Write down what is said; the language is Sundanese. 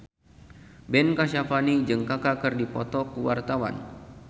Ben Kasyafani jeung Kaka keur dipoto ku wartawan